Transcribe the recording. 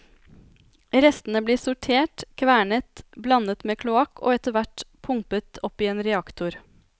Restene blir sortert, kvernet, blandet med kloakk og etterhvert pumpet opp i en reaktor.